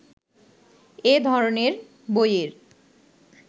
এ ধরনের বইয়ের